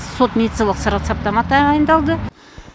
сот медициналық тағайындалды